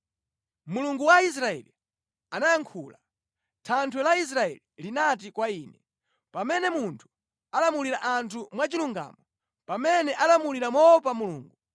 Mulungu wa Israeli anayankhula, Thanthwe la Israeli linati kwa ine: ‘Pamene munthu alamulira anthu mwachilungamo, pamene alamulira moopa Mulungu,